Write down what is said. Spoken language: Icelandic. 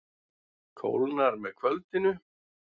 Kólnar með kvöldinu